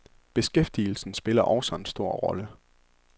Beskæftigelsen spiller også en stor rolle.